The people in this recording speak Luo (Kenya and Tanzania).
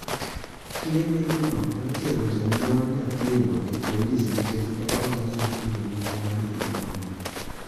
Klinikno ne otero jonyuol nyathino e polis nikech ne ok ginyal chulo nengo mar yeng'ono.